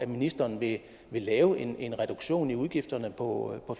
ministeren vil lave en en reduktion i udgifterne på